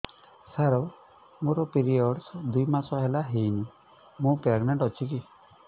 ସାର ମୋର ପିରୀଅଡ଼ସ ଦୁଇ ମାସ ହେଲା ହେଇନି ମୁ ପ୍ରେଗନାଂଟ ଅଛି କି